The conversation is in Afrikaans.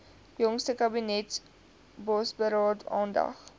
jongste kabinetsbosberaad aandag